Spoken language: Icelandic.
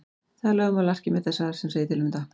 Það er lögmál Arkímedesar sem segir til um þetta.